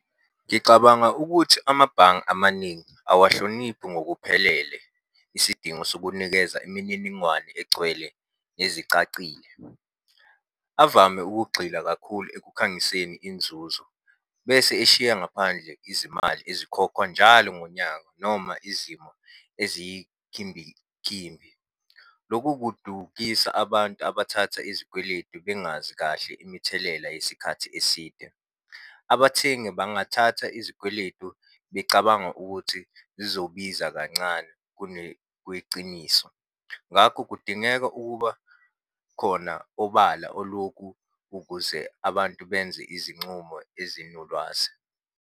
Ngicabanga ukuthi amabhange amaningi awahloniphi ngokuphelele isidingo sokunikeza imininingwane egcwele nezicacile. Avame ukugxila kakhulu ekukhangiseni inzuzo, bese eshiya ngaphandle izimali ezikhokhwa njalo ngonyaka noma izimo ezikhimbikimbi. Loku kudukisa abantu abathatha izikweletu bengazi kahle imithelela yesikhathi eside. Abathengi bangathatha izikweletu becabanga ukuthi zizobiza kancane kunekweciniso. Ngakho kudingeka ukuba khona obala olokhu ukuze abantu benze izincumo ezinolwazi.